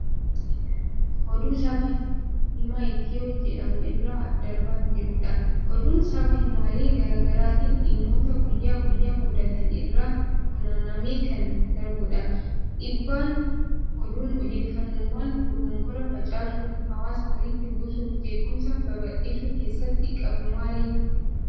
Oduu sabaa himaa Itiyoo jedhamu irraa darbaa jirudha. Oduun sabaa himaalee garaa garaatiin dhimmoota guyyaa guyyaan mudatan irraa funaanamee kan darbudha. Dhiibbaan oduun odeeffannoowwan dogongoraa facaasuun hawaasa walitti buusuufi jeequmsa babal'isuu keessatti qabu maali?